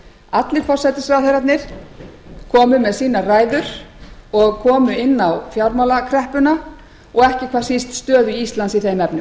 allir forsætisráðherrarnir komu með sínar ræður og komu inn á fjármálakreppuna og ekki hvað síst stöðu íslands í þeim efnum